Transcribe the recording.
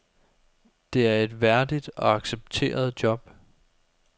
Det er et værdigt og accepteret job.